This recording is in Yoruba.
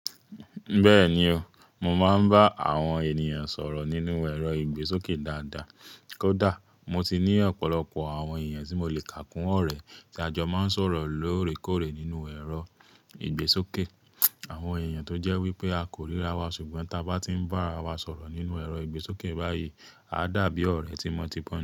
Bẹ́ẹ̀ni o, mo máa ń bá àwọn ènìyàn sọ̀rọ̀ nínú ẹ̀rọ ìgbésókè dáadáa. Kódà mo ti ní ọ̀pọ̀lọpọ̀ àwọn èèyàn tí mo le kàkún ọ̀rẹ́ tí a jọ máa ń sọ̀rọ̀ lóòrèkóòrè nínú ẹ̀rọ ìgbésókè. Àwọn èèyàn tó jẹ́ wípé a kò ríra wa ṣùgbọ́n tí a bá ti ń bá ara wa sọ̀rọ̀ nínú ẹ̀rọ ìgbésókè báyìí, à dá bí ọ̀rẹ́ tímọtimọ.